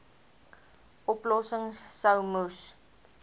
oplossings sou moes